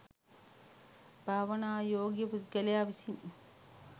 භාවනානුයෝගී පුද්ගලයා විසින්